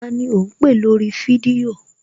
Tani ò ń pè lórí fídíò?